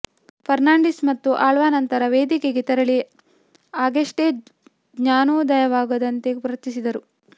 ಫರ್ನಾಂಡಿಸ್ ಮತ್ತು ಆಳ್ವಾ ನಂತರ ವೇದಿಕೆಗೆ ತೆರಳಿ ಆಗಷ್ಟೇ ಜ್ಞಾನೋದಯವಾದಂತೆ ವರ್ತಿಸಿದರು